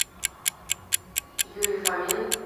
юрий фомин